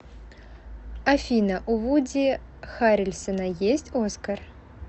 афина у вуди харрельсона есть оскар